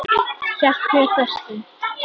Hélt mér föstum.